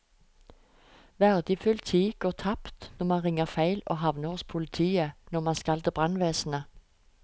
Verdifull tid går tapt når man ringer feil og havner hos politiet når man skal til brannvesenet.